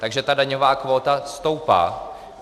Takže ta daňová kvóta stoupá.